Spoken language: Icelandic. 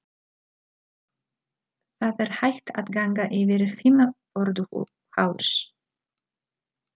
Það er hægt að ganga yfir Fimmvörðuháls.